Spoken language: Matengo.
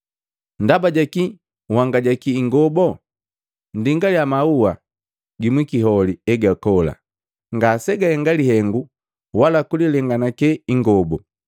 “Ndaba jakii nhangajaki ingobo? Nndingaliya maua gimwikiholi egakola. Ngasegahenga lihengu wala kulilenganake ingobu.